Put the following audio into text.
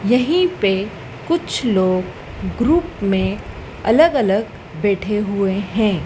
यही पे कुछ लोग ग्रुप मे अलग अलग बैठे हुए है।